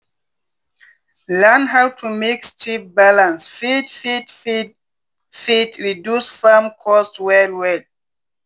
learning how to mix cheap balanced feed fit feed fit reduce farm cost well-well.